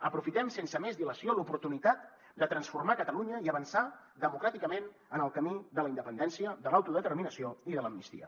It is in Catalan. aprofitem sense més dilació l’oportunitat de transformar catalunya i avançar democràticament en el camí de la independència de l’autodeterminació i de l’amnistia